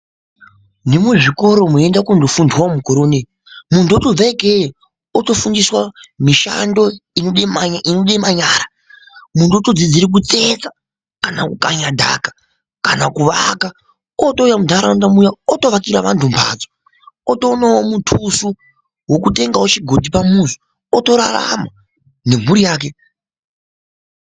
Nemuzvikora moenda kundofundwa mukore unou, muntu otobva ikeyo otofundiswa mishando inode manyara. Muntu otodzidzire kutsetsa, kana kukanya dhaka, kana kuvaka. Ootouya muntaraunda muya otovakira vantu mbhatso, otoonawo muthuso wokutengawo chigodhi pamuzi, otorarama nemhuri yake.